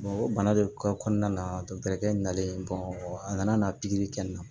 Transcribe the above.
o bana de kɔnɔna na dɔkitɛrikɛ nalen a nana pikiri kɛ n na